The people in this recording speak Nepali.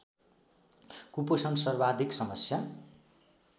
कुपोषण सर्वाधिक समस्या